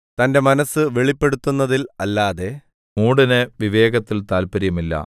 തന്റെ മനസ്സ് വെളിപ്പെടുത്തുന്നതിൽ അല്ലാതെ മൂഢന് വിവേകത്തിൽ താത്പര്യമില്ല